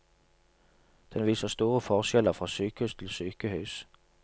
Den viser store forskjeller fra sykehus til sykehus.